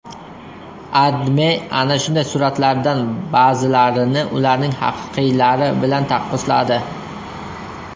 AdMe ana shunday suratlardan ba’zilarini ularning haqiqiylari bilan taqqosladi .